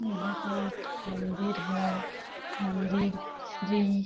यहाँ पे एक मंदिर है मंदिर श्री --